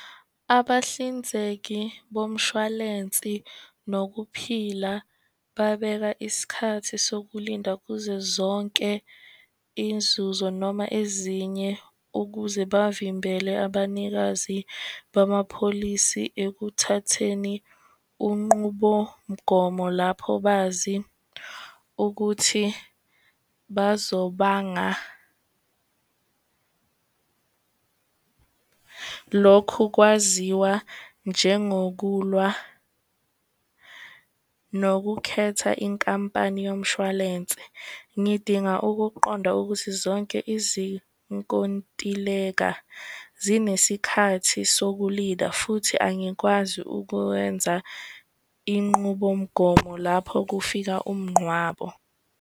Abahlinzeki bomshwalensi nokuphila babeka isikhathi sokulinda kuzo zonke inzuzo noma ezinye ukuze bavimbele abanikazi bamapholisi ekuthatheni unqubomgomo lapho bazi ukuthi bazobanga lokhu kwaziwa njengokulwa nokukhetha inkampani yomshwalense. Ngidinga ukuqonda ukuthi zonke izinkontileka zinesikhathi sokulinda futhi angikwazi ukwenza inqubomgomo lapho kufika umnqwabo.